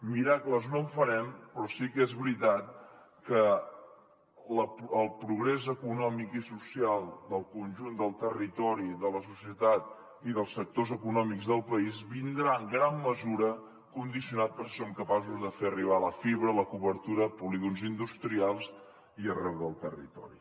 miracles no en farem però sí que és veritat que el progrés econòmic i social del conjunt del territori de la societat i dels sectors econòmics del país vindrà en gran mesura condicionat per si som capaços de fer arribar la fibra i la cobertura a polígons industrials i arreu del territori